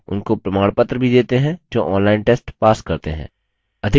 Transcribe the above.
उनको प्रमाणपत्र भी देते हैं जो online test pass करते हैं